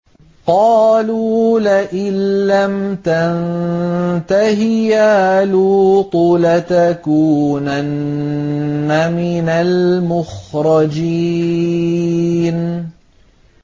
قَالُوا لَئِن لَّمْ تَنتَهِ يَا لُوطُ لَتَكُونَنَّ مِنَ الْمُخْرَجِينَ